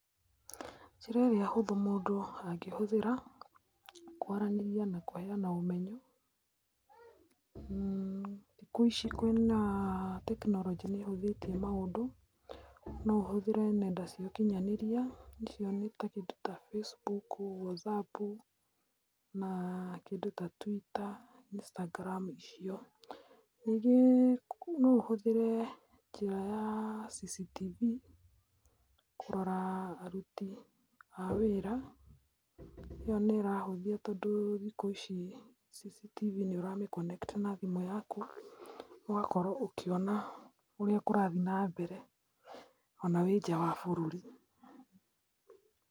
Njĩra ĩrĩa hũthũ mũndũ angĩhũthĩra kwaranĩria na kũheana ũmenyo, thikũ ici kwĩna tekinoronjĩ, nĩ ĩhũthĩtie maũndũ. No ũhũthĩre nenda cia ũkinyanĩria, icio nĩ kĩndũ ta Facebook, Whatsapp na kĩndũ ta twitter, Instagram icio. Ningĩ no ũhũthĩre njĩra ya cctv kũrora aruti a wĩra. ĩyo nĩ ĩrahũthia tondũ thikũ ici cctv nĩ ũramĩ connect na thimũ yaku, ũgakorwo ũkĩona ũrĩa kũrathiĩ nambere ona wĩ nja ya bũrũri.